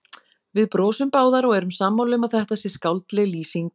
Við brosum báðar og erum sammála um að þetta sé skáldleg lýsing.